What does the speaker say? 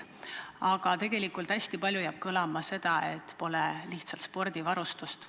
Samas jääb hästi palju kõlama seda, et pole lihtsalt spordivarustust.